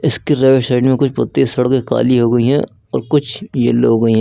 इसकी right side में कुछ पत्ती सड़के काली हो गई हैं और कुछ येलो हो गई हैं।